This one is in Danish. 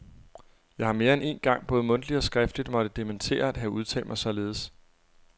Jeg har mere end én gang både mundtligt og skriftligt måtte dementere at have udtalt mig således.